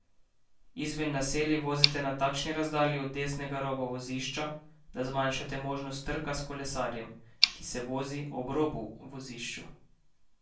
Izven naselij vozite na takšni razdalji od desnega roba vozišča, da zmanjšate možnost trka s kolesarjem, ki se vozi ob robu vozišču.